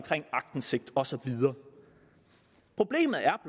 aktindsigt og så videre problemet er